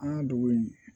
An ka dugu in